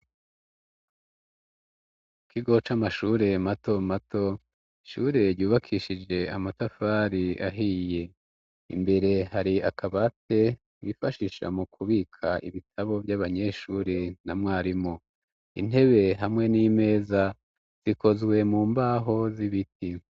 Ikigo c' amashure mato mato ishure ryubakishije amatafari ahiye imbere hari akabate bifashisha mu kubika ibitabo vy'abanyeshure na mwarimu intebe hamwe n'imeza zikozwe mu mbaho z'ibiti.